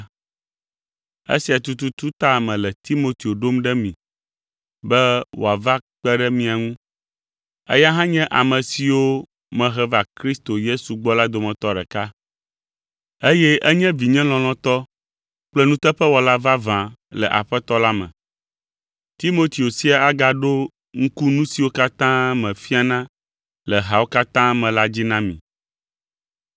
Esia tututu ta mele Timoteo ɖom ɖe mi be wòava kpe ɖe mia ŋu. Eya hã nye ame siwo mehe va Kristo Yesu gbɔ la dometɔ ɖeka eye enye vinye lɔlɔ̃tɔ kple nuteƒewɔla vavã le Aƒetɔ la me. Timoteo sia agaɖo ŋku nu siwo katã mefiana le hawo katã me la dzi na mi.